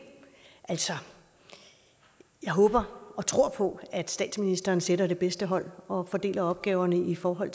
altså jeg håber og tror på at statsministeren sætter det bedste hold og fordeler opgaverne i forhold